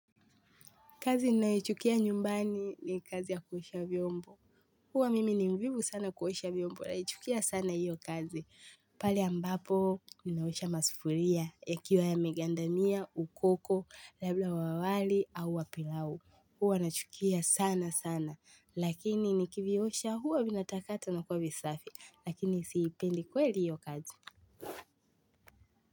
Kazi ninayoichukia nyumbani ni kazi ya kuosha vyombo. Huwa mimi ni mvivu sana kuosha vyombo, naichukia sana hiyo kazi. Pali ambapo, ninaosha masufuria, yakiwa ya megandamia, ukoko, labda wa wali au wa pilau. Huwa nachukia sana sana, lakini nikiviosha huwa vinatakata na kuwa visafi, lakini siipendi kweli hiyo kazi.